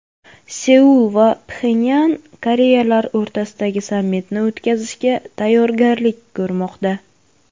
Seul va Pxenyan Koreyalar o‘rtasidagi sammitni o‘tkazishga tayyorgarlik ko‘rmoqda.